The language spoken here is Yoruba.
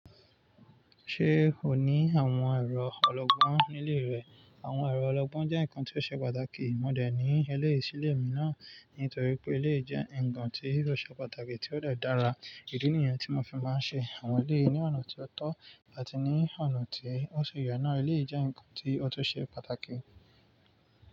Ṣé o ní àwọn ẹ̀rọ ọlọgbọ́n nílé rẹ? Àwọn ẹ̀rọ ọlọgbọ́n jẹ́ nǹkan tí ó ṣe pàtàkì. Mo dà ẹ́ ní eléyìí sí ilé mi náà nítorí pé ilé jẹ́ nnkàn tí rò ṣe pàtàkì tí ó dà dára. Èdè nìyẹn tí mo fi máa ń ṣe àwọn ilé ní ọ̀nà tí ó tọ́ àti ní ọ̀nà tí ó ṣe ìyè náà. Ilé jẹ́ nǹkan tí ó tó ṣe pàtàkì.